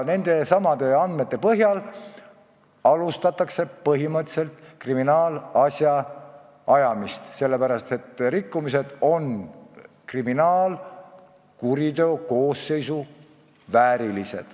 Nendesamade andmete põhjal alustatakse põhimõtteliselt kriminaalasja menetlust, sest nende rikkumiste puhul on tegemist kriminaalkuriteo koosseisuga.